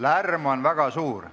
Saal, lärm on väga suur.